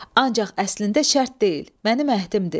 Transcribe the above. Ancaq əslində şərt deyil, mənim əhdimdir.